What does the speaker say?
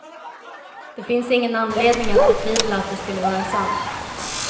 Det finns ingen anledning att betvivla att det skulle vara sant.